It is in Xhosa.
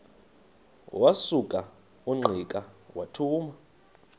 wasuka ungqika wathuma